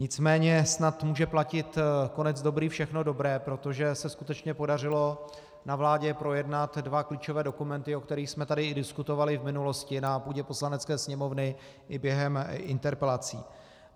Nicméně snad může platit konec dobrý, všechno dobré, protože se skutečně podařilo na vládě projednat dva klíčové dokumenty, o kterých jsme tady i diskutovali v minulosti na půdě Poslanecké sněmovny i během interpelací.